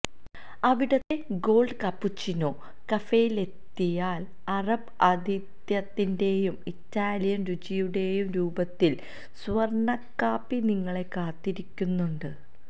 അവിടത്തെ gold cappuccino കഫേയിലെത്തിയാല് അറബ് ആതിഥ്യത്തിന്റേയും ഇറ്റാലിയന് രുചിയുടേയും രൂപത്തില് സ്വര്ണക്കാപ്പി നിങ്ങളെ കാത്തിരിക്കുന്നുണ്ട്